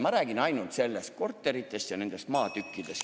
Ma räägin ainult nendest korteritest ja maatükkidest.